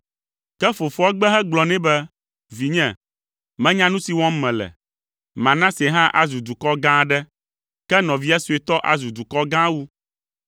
Ke fofoa gbe hegblɔ nɛ be, “Vinye, menya nu si wɔm mele. Manase hã azu dukɔ gã aɖe, ke nɔvia suetɔ azu dukɔ gã wu.”